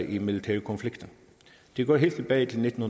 i militære konflikter det går helt tilbage til nitten